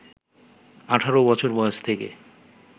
১৮ বছর বয়স থেকে